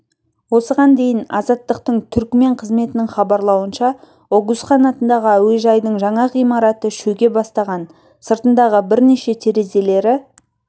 осыған дейін азаттықтың түрікмен қызметінің хабарлауынша огузхан атындағы әуежайдың жаңа ғимараты шөге бастаған сыртындағы бірнеше терезелері